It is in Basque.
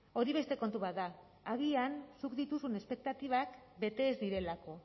hori beste kontu bat da agian zuk dituzun espektatibak bete ez direlako